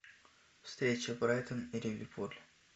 встреча брайтон и ливерпуль